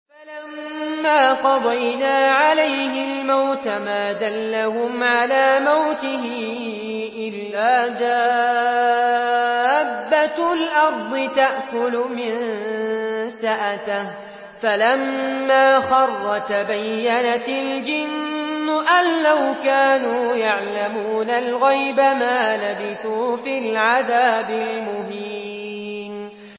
فَلَمَّا قَضَيْنَا عَلَيْهِ الْمَوْتَ مَا دَلَّهُمْ عَلَىٰ مَوْتِهِ إِلَّا دَابَّةُ الْأَرْضِ تَأْكُلُ مِنسَأَتَهُ ۖ فَلَمَّا خَرَّ تَبَيَّنَتِ الْجِنُّ أَن لَّوْ كَانُوا يَعْلَمُونَ الْغَيْبَ مَا لَبِثُوا فِي الْعَذَابِ الْمُهِينِ